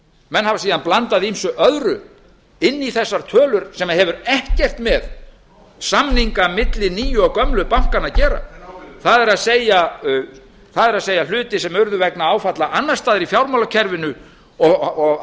menn hafa síðan blandað ýmsu öðru inn í þessa tölu sem hefur ekkert með samninga gömlu og nýju bankanna að gera það er hlutir sem urðu vegna áfalla annars staðar í fjármálakerfinu og hafa í